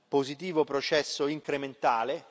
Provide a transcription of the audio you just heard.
positivo processo incrementale.